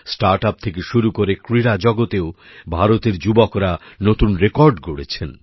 startup থেকে শুরু করে ক্রীড়া জগতেও ভারতের যুবকরা নতুন রেকর্ড গড়েছেন